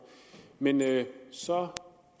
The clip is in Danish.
men da jeg så